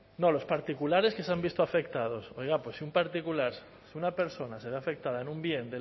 no los particulares que se han visto afectados oiga pues si un particular una persona se ve afectada en un bien